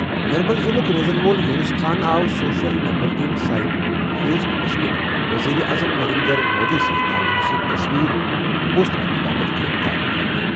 نرمل ضِلعُک روزَن وول یونس خان آو سوشل نیٹ ورکنگ سائٹ فیس بُکَس پٮ۪ٹھ وزیر اعظم نریندر مودی سٕنٛز نامناسب تصویر پوسٹ کرنہٕ باپتھ گِرِفتار کرنہٕ۔